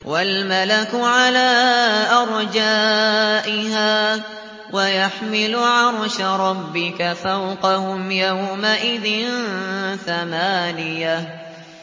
وَالْمَلَكُ عَلَىٰ أَرْجَائِهَا ۚ وَيَحْمِلُ عَرْشَ رَبِّكَ فَوْقَهُمْ يَوْمَئِذٍ ثَمَانِيَةٌ